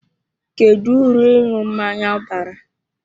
Kedu uru ịṅụ mmanya bara?